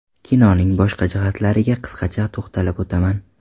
Kinoning boshqa jihatlariga qisqacha to‘xtalib o‘taman.